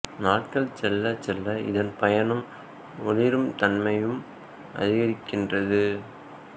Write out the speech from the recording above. நாட்கள் செல்லச் செல்ல இதன் பருமனும் ஒளிரும் தன்மையும் அதிகரிக்கின்றது